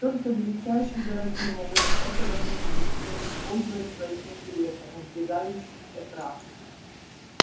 только величайшие дураки могут этого не видеть и не использовать в своих интересах надвигающийся крах